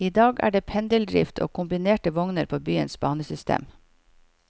I dag er det pendeldrift og kombinerte vogner på byens banesystem.